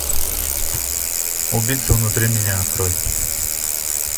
убийца внутри меня открой